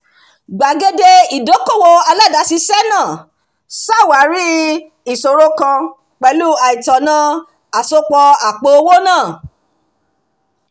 gbàgede ìdókòwò aládàáṣiṣẹ́ náà ṣàwárí ìṣòro kan pẹ̀lú àìtọ̀nà àsopọ̀ àpò-owó náà